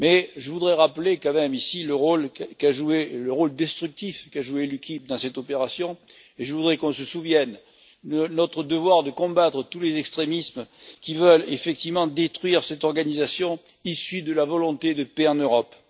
Je voudrais quand même rappeler ici le rôle destructif qu'a joué l'UKIP dans cette opération et je voudrais qu'on se souvienne de notre devoir de combattre tous les extrémismes qui veulent effectivement détruire cette organisation issue de la volonté de paix en Europe.